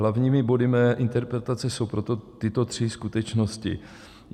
Hlavními body mé interpelace jsou proto tyto tři skutečnosti: